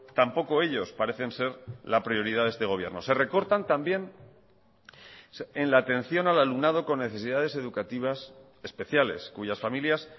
tampoco ellos parecen ser la prioridad de este gobierno se recortan también en la atención al alumnado con necesidades educativas especiales cuyas familias